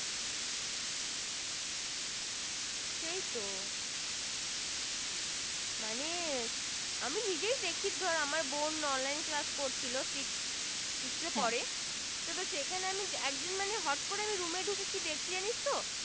সেই তো মানে আমি নিজেই দেখি ধর আমার বোন Online Class করছিলো Six Six পরে সেখানে আমি যে একদিন মানে হট করে আমি Room এ ডুকেছে কি জানিস তো